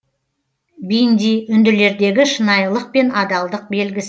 бинди үнділердегі шынайылық пен адалдық белгісі